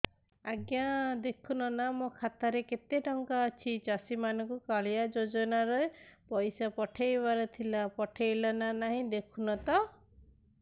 ଆଜ୍ଞା ଦେଖୁନ ନା ମୋର ଖାତାରେ କେତେ ଟଙ୍କା ଅଛି ଚାଷୀ ମାନଙ୍କୁ କାଳିଆ ଯୁଜୁନା ରେ ପଇସା ପଠେଇବାର ଥିଲା ପଠେଇଲା ନା ନାଇଁ ଦେଖୁନ ତ